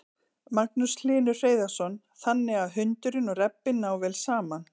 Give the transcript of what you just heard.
Magnús Hlynur Hreiðarsson: Þannig að hundurinn og rebbinn ná vel saman?